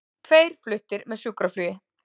Tveir fluttir með sjúkraflugi